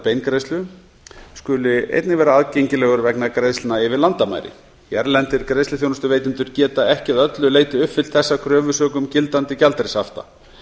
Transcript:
beingreiðslu skuli vera aðgengilegur vegna greiðslna yfir landamæri hérlendir greiðsluþjónustuveitendur geta ekki að öllu leyti uppfyllt þessa kröfu sökum gildandi gjaldeyrishafta